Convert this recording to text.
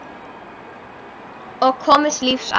Og komist lífs af.